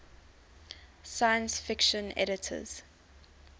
science fiction editors